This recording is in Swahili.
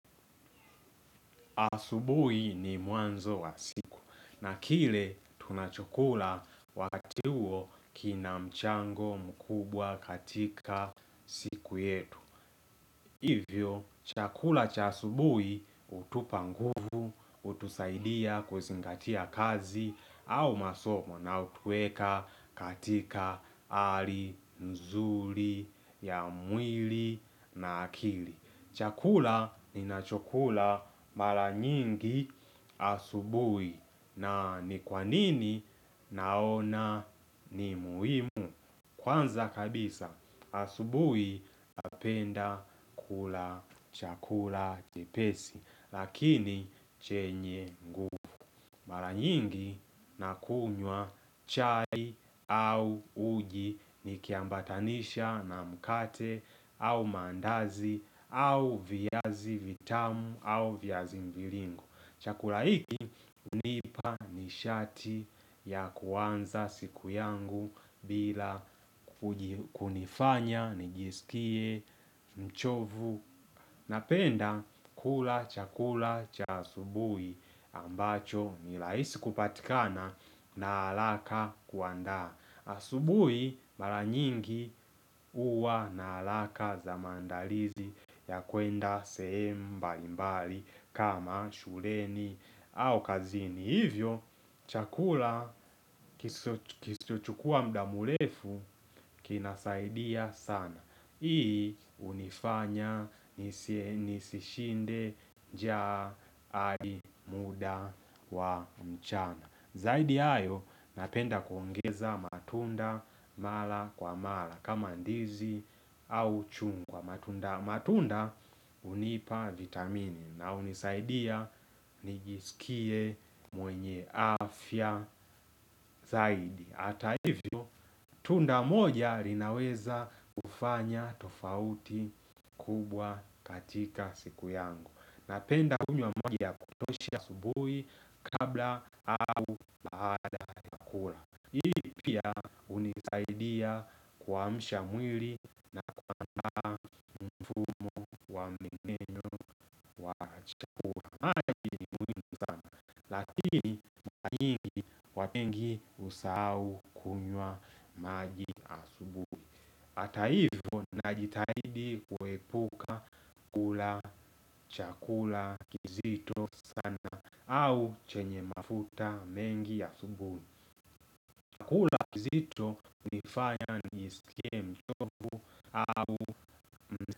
Asubuhi ni mwanzo wa siku na kile tunachokula wakati huo kina mchango mkubwa katika siku yetu. Hivyo, chakula cha asubuhi hutupa nguvu, hutusaidia kuzingatia kazi au masomo na hutueka katika hali, nzuli, ya mwili na akili. Chakula ninacho mala nyingi asubuhi na ni kwanini naona ni muhimu. Kwanza kabisa asubuhi napenda kula chakula chepesi lakini chenye nguvu. Mara nyingi na kunywa chai au uji ni kiambatanisha na mkate au maandazi au viazi vitamu au viazi mvilingo Chakula hiki hunipa ni shati ya kuanza siku yangu bila kunifanya, nijisikie, mchovu Napenda kula chakula cha asubuhi ambacho nirahisi kupatikana na haraka kuanda. Asubui mara nyingi uwa na hakaka za maandalizi ya kwenda sehemu mba mbalimbali kama shuleni au kazini. Ni hivyo, chakula kisochukua muda mrefu kinasaidia sana. Hii hunifanya nisishinde njaa hadi muda wa mchana. Zaidi ayo, napenda kuongeza matunda mala kwa mala. Kama ndizi au chungwa. Matunda hunipa vitamini. Na hunisaidia niisikie mwenye afya zaidi Ata hivyo tunda moja linaweza kufanya tofauti kubwa katika siku yangu Napenda kunywa majia kutoshia asubuhi kabla au baada kula hunisaidia kuamsha mwili maji muhimu sana lakini waengi husau kunywa maji ata hivo najitahidi kuepu kula chakula kizito au chenye mafuta mengi ya asubuhi Chakula kizito hunifanya nijiskie mchovu.